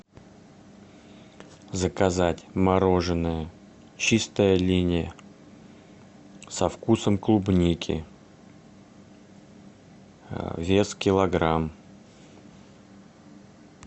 заказать мороженое чистая линия со вкусом клубники вес килограмм